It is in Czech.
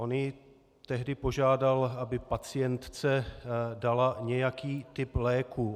On ji tehdy požádal, aby pacientce dala nějaký typ léku.